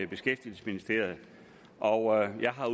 beskæftigelsesministeriet og jeg har